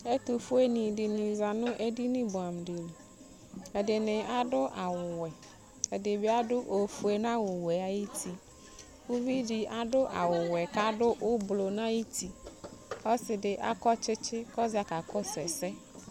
ɛtofue ni dini za n'ɛdini boɛ amo di li ɛdini ado awu wɛ ɛdi bi ado ofue n'awu wɛ ayiti uvi di ado awu wɛ k'ado ublɔ n'ayiti k'ɔse di akɔ tsitsi k'ɔza kakɔsu ɛsɛ